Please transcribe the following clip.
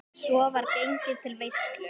Svo var gengið til veislu.